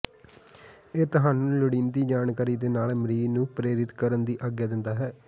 ਇਹ ਤੁਹਾਨੂੰ ਲੋੜੀਂਦੀ ਜਾਣਕਾਰੀ ਦੇ ਨਾਲ ਮਰੀਜ਼ ਨੂੰ ਪ੍ਰੇਰਿਤ ਕਰਨ ਦੀ ਆਗਿਆ ਦਿੰਦਾ ਹੈ